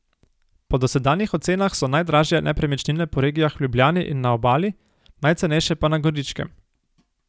Po dosedanjih ocenah so najdražje nepremičnine po regijah v Ljubljani in na Obali, najcenejše pa na Goričkem.